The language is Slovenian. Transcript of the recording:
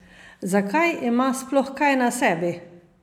Zakaj ima sploh kaj na sebi?